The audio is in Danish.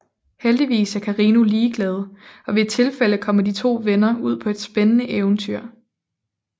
Heldigvis er Carino ligeglad og ved et tilfælde kommer de to venner ud på et spændende eventyr